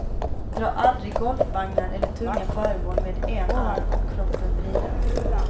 Dra aldrig golfvagnar eller tunga föremål med en arm och kroppen vriden.